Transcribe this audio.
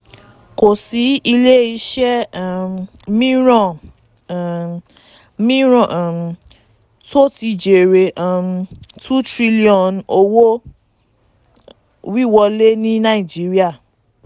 kò sí ilé-iṣẹ́ um mìíràn um mìíràn um tó ti jèrè um n two trn owó-wíwọlé ní nàìjíríà.